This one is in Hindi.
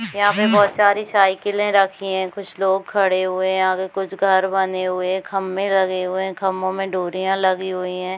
यहाँ पे बहुत सारी साइकिले रखी है कुछ लोग खड़े हुए है आगे कुछ घर बने हुए है खम्भे लगे हुए है खंभों में डोरिया लगी हुई है।